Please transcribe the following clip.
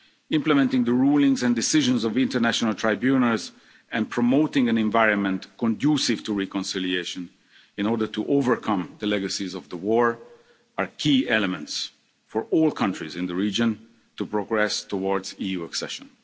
Implementing the rulings and decisions of international tribunals and promoting an environment conducive to reconciliation in order to overcome the legacies of the war are key elements for all countries in the region to progress towards EU accession.